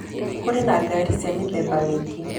Kũrĩ na ngarĩ cĩa mĩtheba mĩĩngĩ.